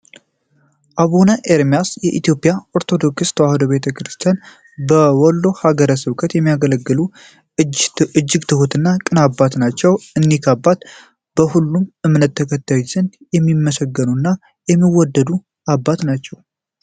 አቡነ ኤርሚያስ በኢትዮጵያ ኦርቶዶክስ ተዋሕዶ ቤተክርስቲያን በወሎ ሀገረ ስብከት የሚያገለግሉ እጅ ትሁት እና ቅን አባት ናቸው። እኒህ አባት በሁሉም እምነት ተከታዮች ዘንድ የሚመሰገኑ እና የሚወድዱ አባት ናቸው።